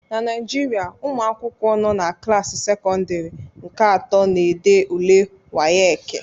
na Naijiria, ụmụ akwụkwọ nọ na klaasị sekọndịrị nke atọ na-ede ule WAEKI